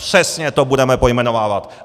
Přesně to budeme pojmenovávat.